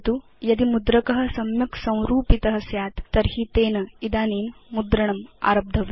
यदि मुद्रक सम्यक् संरूपित स्यात् तर्हि तेन इदानीं मुद्रणम् आरब्धव्यम्